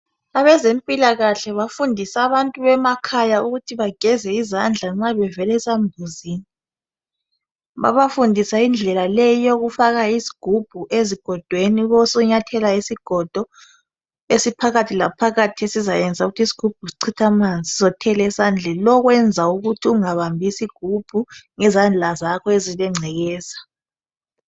abezempilakahle bafundisa abantu bemakhaya ukuthi bageze izandla nxa bevela esambuzini babafundisa indlela leyi eyokufaka isigubhu ezigodweni ube usunyathela isigodo esiphakathi la phakathi esisayenza ukuthi isigubhu sichithe amanzi sizothela esandleni ukwenzela ukuthi ungabambi isigubhu ngezandla zakho ezilengcekeza